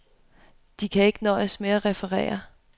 De kan ikke nøjes med at referere.